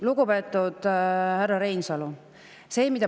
Lugupeetud härra Reinsalu!